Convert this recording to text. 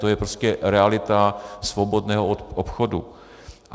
To je prostě realita svobodného obchodu.